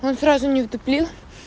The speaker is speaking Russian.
он сразу не вдуплил